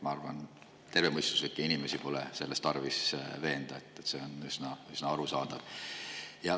Ma arvan, et tervemõistuslikke inimesi pole selles tarvis veenda, see on üsna arusaadav.